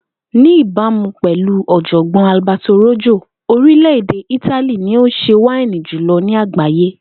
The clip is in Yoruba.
Ní ìbámu pè̩lú ò̩jò̩gbó̩n Alberto Rojo, orilè̩-èdè Itali ni ó ń s̩e wáínì jùlo̩ ni àgbáyé